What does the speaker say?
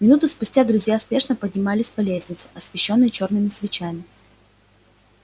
минуту спустя друзья спешно поднимались по лестнице освещённой чёрными свечами